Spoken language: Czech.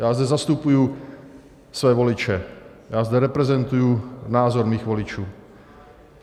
Já zde zastupuji své voliče, já zde reprezentuji názor svých voličů.